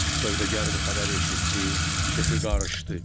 Sövdəgar bu xəbəri eşitdi, kefi qarışdı.